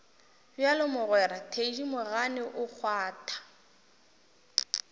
bjalo mogwera thedimogane o kgwatha